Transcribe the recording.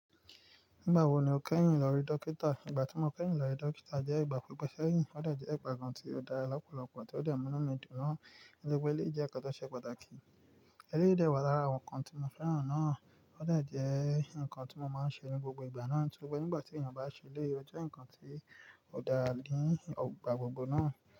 Nígbà wo ni o kẹ́yìn lórí dókítà? Ìgbà tí mo kẹ́yìn lórí dókítà jẹ́ ìgbà pípẹ́ ṣẹ́yìn ó dà jẹ́ ìgbà kan tí ó dára lọ́pọ̀lọpọ̀ tí ó de mú ínú mi dùn naa. Nítoripe eleyì jẹ́ ǹkan tó ṣe pàtàkì. Ẹleyii dẹ́ wá lára àwọn ǹkan tí mo fẹ́ràn náà ó de jẹ ǹkan tí mo máa ń ṣe ní gbogbo ìgbà náà. Sùgbọ́n n gbà tí ènìyàn bá ṣelé, ó jẹ́ ǹkan tí ó dára ní ogbà gbogbo náà.